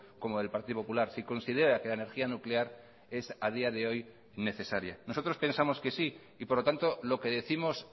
como del partido popular si considera que la energía nuclear es a día de hoy necesaria nosotros pensamos que sí y por lo tanto lo que décimos